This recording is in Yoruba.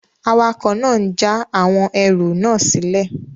Awakọ̀ náà n já àwọn ẹrù náà sílẹ̀